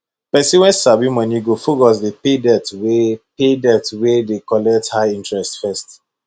pesin wey sabi moni go focus dey pay debt wey pay debt wey dey collect high interest first